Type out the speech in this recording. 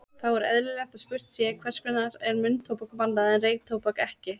Þá er eðlilegt að spurt sé, hvers vegna er munntóbak bannað en reyktóbak ekki?